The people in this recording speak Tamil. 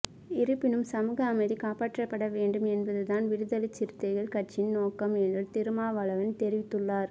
இருப்பினும் சமூக அமைதி காப்பாற்றப்பட வேண்டும் என்பதுதான் விடுதலைச்சிறுத்தைகள் கட்சியின் நோக்கம் என்று திருமாவளவன் தெரிவித்துள்ளார்